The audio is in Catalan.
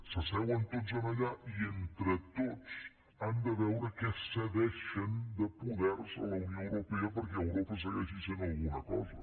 s’asseuen tots allà i entre tots han de veure què cedeixen de poder a la unió europea perquè europa segueixi sent alguna cosa